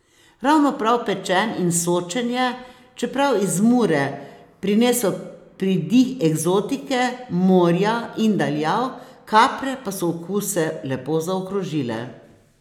Ravno prav pečen in sočen je, čeprav iz Mure, prinesel pridih eksotike, morja in daljav, kapre pa so okuse lepo zaokrožile.